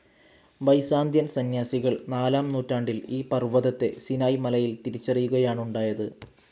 Byzantine സന്യാസികൾ നാലാം നൂറ്റാണ്ടിൽ ഈ പർവ്വതത്തെ സിനായ് മലയിൽ തിരിച്ചറിയുകയാണുണ്ടായത്.